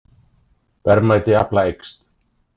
Verðmæti afla eykst